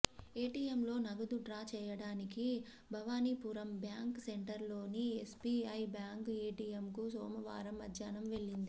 ఏటీఎంలో నగదు డ్రా చేయటానికి భవానీపురం బ్యాంక్ సెంటర్లోని ఎస్బీఐ బ్యాంక్ ఏటిఎంకు సోమవారం మధ్యాహ్నం వెళ్లింది